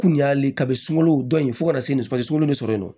Kun y'ale kabin sunlo dɔn in ye fo ka na se nin suma ye sunkalo bɛ sɔrɔ yen nɔ